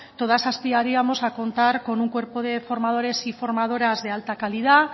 todas aspiraríamos a contar con un cuerpo de formadores y formadoras de alta calidad